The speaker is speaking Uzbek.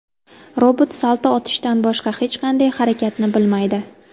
Robot salto otishdan boshqa hech qanday harakatni bilmaydi.